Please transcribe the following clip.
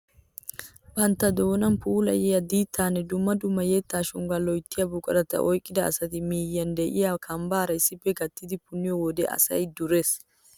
Bantta doonan pulaaliyaa diittanne dumma dumma yettaa shonggaa loyttiyaa buqurata oyqqida asati miyiyaan de'iyaa kambbaara issippe gattidi punniyoo wode asay durees!